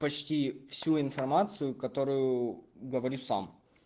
почти всю информацию которую говорю сам